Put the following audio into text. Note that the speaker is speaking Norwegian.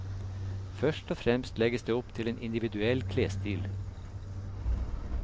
Først og fremst legges det opp til en individuell klesstil.